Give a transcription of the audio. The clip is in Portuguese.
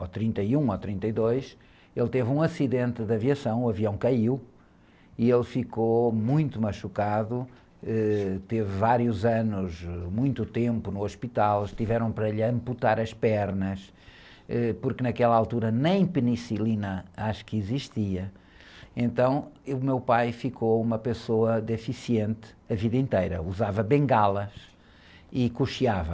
trinta e um ou trinta e dois, ele teve um acidente de aviação, o avião caiu, e ele ficou muito machucado, ãh, teve vários anos, muito tempo no hospital, para ele amputar as pernas, porque naquela altura nem penicilina acho que existia, então o meu pai ficou uma pessoa deficiente a vida inteira, usava bengalas e cocheava.